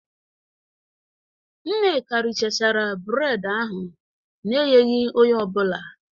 Nneka richachara bred ahụ n'enyeghi onye ọbụla